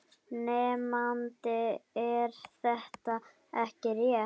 Nemandi: Er þetta ekki rétt?